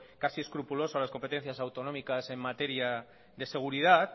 casi escrupuloso en las competencias autonómicas en materia de seguridad